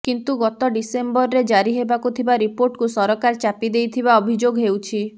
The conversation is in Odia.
କିନ୍ତୁ ଗତ ଡିସେମ୍ବରରେ ଜାରି ହେବାକୁ ଥିବା ରିପୋର୍ଟକୁ ସରକାର ଚାପି ଦେଇଥିବା ଅଭିଯୋଗ ହେଉଛି